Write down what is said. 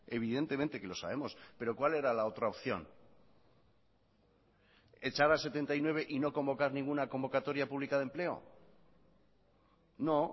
evidentemente que lo sabemos pero cuál era la otra opción echar a setenta y nueve y no convocar ninguna convocatoria pública de empleo no